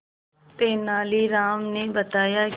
तेनालीराम ने बताया कि